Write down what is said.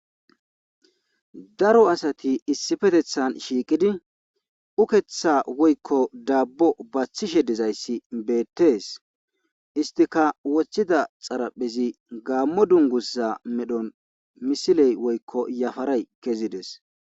Daro asati issifetethan shiiqidi ukeththa woykko daabbo baththishe dizayssi beettees istika woththida xaraphezi gaammo dungussa medhon misiley woykko yafaray kezides.